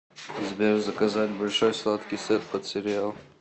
сбер заказать большой сладкий сет под сериал